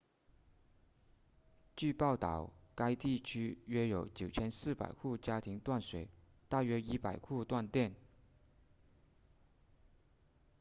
据报道该地区约有9400户家庭断水大约100户断电